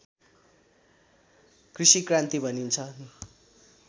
कृषि क्रान्ति भनिन्छ